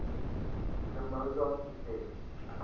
the mozart effect